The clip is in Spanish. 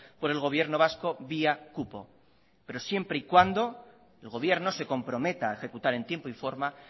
por el gobierno vasco vía cupo pero siempre y cuando el gobierno se comprometa a ejecutar en tiempo y forma